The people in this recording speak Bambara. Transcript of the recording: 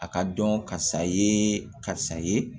A ka dɔn karisa ye karisa ye